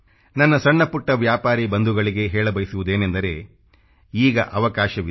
ನನ್ನ ಸಣ್ಣ ಪುಟ್ಟ ವ್ಯಾಪಾರಿ ಬಂಧುಗಳಿಗೆ ಹೇಳ ಬಯಸುವುದೇನೆಂದರೆ ಈಗ ಅವಕಾಶವಿದೆ